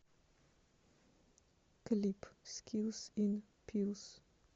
клип скилс ин пилс